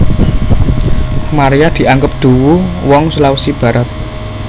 Maria dianggep duwu wong Sulawesi Barat